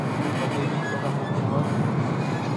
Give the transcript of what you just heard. Chamei piik kokase tyenwogik